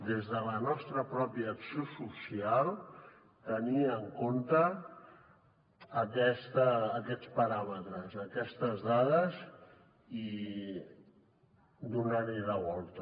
des de la nostra pròpia acció social tenir en compte aquests paràmetres aquestes dades i donar hi la volta